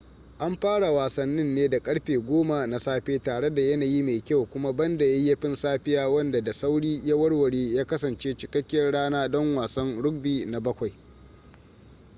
an fara wasannin ne da karfe 10:00 na safe tare da yanayi mai kyau kuma banda yayyafin safiya wanda da sauri ya warware ya kasance cikakkiyar rana don wasan rugby na 7